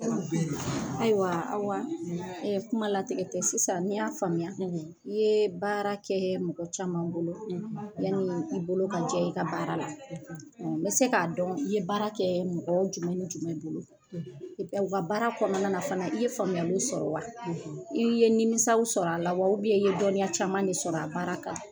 Ayiwa, Awa, kuma latigɛ tɛ, sisan ni n y'a faamuya, i ye baara kɛ mɔgɔ caman bolo. Yanni i bolo ka jɛ i ka baara la. n bɛ se k'a dɔn I ye baara kɛ mɔgɔw jumɛn ni jumɛn bolo, o ka baara kɔnɔna na fana i ye faamuya sɔrɔ wa? I ye nimisaw sɔrɔ a la wa? I ye dɔnniya caman de sɔrɔ a baara kan.